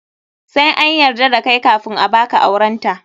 Sai an yarda da kai kafun a baka aurenta.